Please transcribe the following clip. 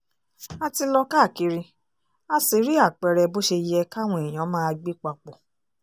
a ti lọ káàkiri a sì rí àpẹẹrẹ bó ṣe yẹ káwọn èèyàn máa gbé papọ̀